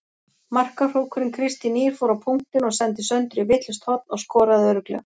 Markahrókurinn Kristín Ýr fór á punktinn og sendi Söndru í vitlaust horn og skoraði örugglega.